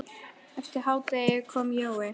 Eftir hádegi kom Jói.